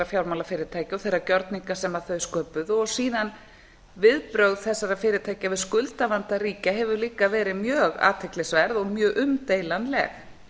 fjármálafyrirtækja og þeirra gjörninga sem þau sköpuðu og síðar viðbrögð þessara fyrirtækja við skuldavanda ríkja hafa líka verið mjög athyglisverð og mjög umdeilanleg